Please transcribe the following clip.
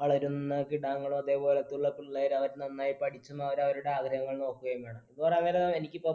വളരുന്ന കിടാങ്ങളും, അതേ പോലുള്ള പിള്ളേരും അവര് നന്നായി പഠിച്ച്, അവരവരുടെ ആഗ്രഹങ്ങൾ നോക്കുകയും വേണം. പോരാതെ എനിക്ക് ഇപ്പൊ